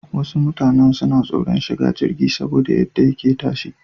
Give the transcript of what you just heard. Wasu mutanan suna tsoran shiga jirgi saboda yadda yake tashi.